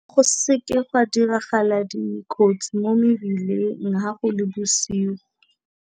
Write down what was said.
Go seke ga diragala dikotsi mo mebileng ha go le bosigo.